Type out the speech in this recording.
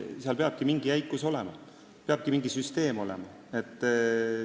Seal peab mingi jäikus olema, seal peab mingi süsteem olema.